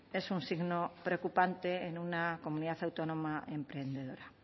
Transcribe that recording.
es un signo preocupante en una comunidad autónoma emprendedora